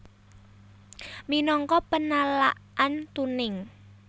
Minangka penalaan tuning